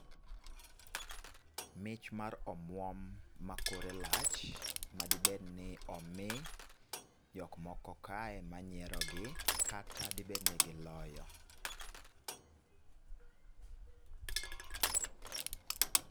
Mich mar omwom ma kore lach ma dibedni omi jok moko ka manyiero gi kata dibedni giloyo